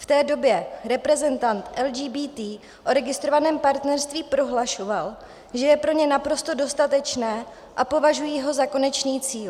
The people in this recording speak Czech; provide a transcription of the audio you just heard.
V té době reprezentant LGBT o registrovaném partnerství prohlašoval, že je pro ně naprosto dostatečné a považují ho za konečný cíl.